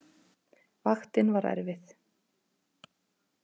Vaktin var erfið.